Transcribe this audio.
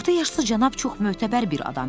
Orta yaşlı cənab çox mötəbər bir adam imiş.